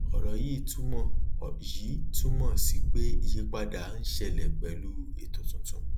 òrò yìí túmọ yìí túmọ sí pé ìyípadà ń ṣẹlẹ pẹlú ètò tuntun